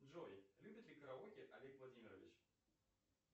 джой любит ли караоке олег владимирович